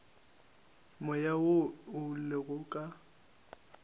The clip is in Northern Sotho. moya wo o lego ka